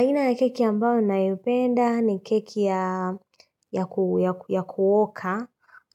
Aina ya keki ambayo nayopenda ni keki ya kuoka,